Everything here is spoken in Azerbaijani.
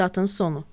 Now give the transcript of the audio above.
Statın sonu.